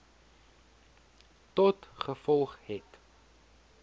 tot gevolg het